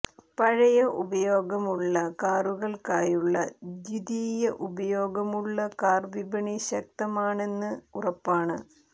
പഴയ ഉപയോഗമുള്ള കാറുകൾക്കായുള്ള ദ്വിതീയ ഉപയോഗമുള്ള കാർ വിപണി ശക്തമാണെന്ന് ഉറപ്പാണ്